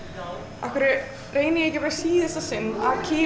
af hverju reyni ég ekki bara í síðasta sinn að kýla